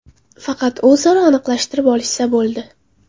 Faqat o‘zaro aniqlashtirib olishsa bo‘ldi.